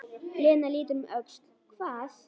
Lena lítur um öxl: Hvað?